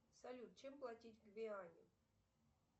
салют чем платить в гвиане